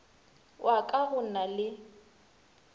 wa ka go na le